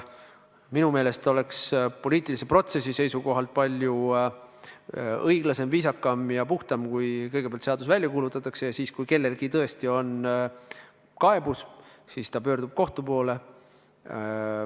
Minu meelest oleks poliitilise protsessi seisukohalt palju õiglasem, viisakam ja puhtam, kui kõigepealt seadus välja kuulutataks ja siis, kui kellelgi tõesti on kaebus, ta pöördub kohtu poole.